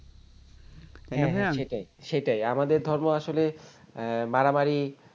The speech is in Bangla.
হ্যাঁ হ্যাঁ সেটাই সেটাই আমাদের ধর্ম আসলে মারামারি